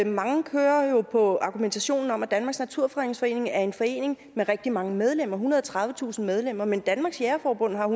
mange kører jo på argumentationen om at danmarks naturfredningsforening er en forening med rigtig mange medlemmer ethundrede og tredivetusind medlemmer men danmarks jægerforbund har